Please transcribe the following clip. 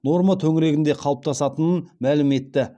норма төңірегінде қалыптасатынын мәлім етті